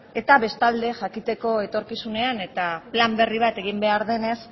eta bestalde jakiteko etorkizunean eta plan berri bat egin behar denez